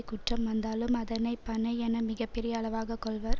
குற்றம் வந்தாலும் அதனை பனை என மிக பெரிய அளவாக கொள்வர்